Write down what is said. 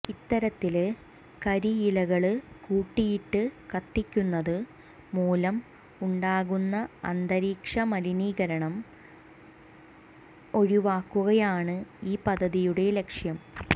ഇത്തരത്തില് കരിയിലകള് കൂട്ടിയിട്ട് കത്തിക്കുന്നത് മൂലം ഉണ്ടാകുന്ന അന്തരീക്ഷ മലീകരണം ഒഴിവാക്കുകയാണ് ഈ പദ്ധതിയുടെ ലക്ഷ്യം